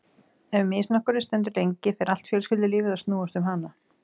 Ef misnotkunin stendur lengi fer allt fjölskyldulífið að snúast um hana.